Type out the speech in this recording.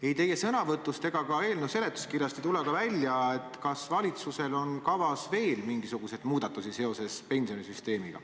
Ei teie sõnavõtust ega ka eelnõu seletuskirjast ei ole välja tulnud, kas valitsusel on kavas veel mingisuguseid muudatusi seoses pensionisüsteemiga.